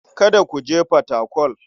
Kada ku je Fatakwal.